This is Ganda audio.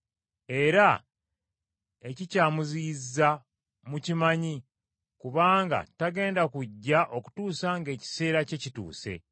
Era ekikyamuziyizza mukimanyi kubanga tagenda kujja okutuusa ng’ekiseera kye kituuse.